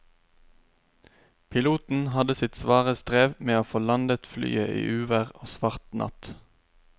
Piloten hadde sitt svare strev med å få landet flyet i uvær og svart natt.